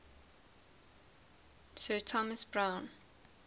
sir thomas browne